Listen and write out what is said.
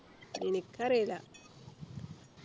എനിക്കറീല